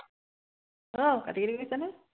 আহ কাটি কাটি কৰিছা নে